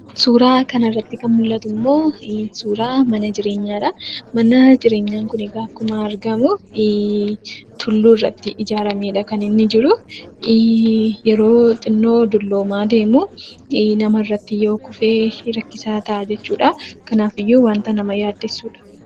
Suuraa kanarratti kan mul'atuu ammoo, suuraa mana jireenyaadha. Mana jireenyaa kunikaa akkuma argamu, tulluurratti ijaarameedha , kan inni jiru. Yeroo xinnoo dulloomaa deemuu namarratti yoo kufe rakkisaa ta'a jechuudha. Kanaafiyyuu wanta nama yaaddessuudha.